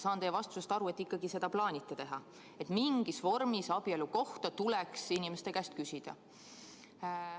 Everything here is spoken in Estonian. Saan teie vastusest aru, et te ikkagi seda plaanite teha, et mingis vormis tuleks abielu kohta inimeste käest küsida.